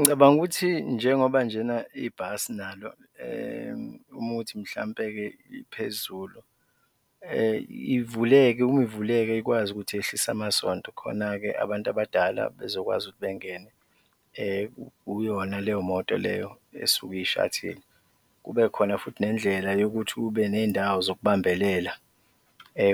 Ngicabanga ukuthi njengoba njena ibhasi nalo uma kuwukuthi mhlawumbe-ke liphezulu, ivuleke uma ivuleke ikwazi ukuthi yehlise amasondo khona-ke abantu abadala bezokwazi ukuthi bengene kuyona leyo moto leyo esuke iyi-shuttle, kubekhona futhi nendlela yokuthi kube ney'ndawo zokubambelela